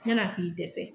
Yann'a k'i dɛsɛ